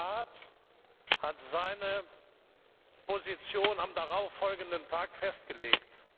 Der Rat hat seine Position am darauffolgenden Tag festgelegt.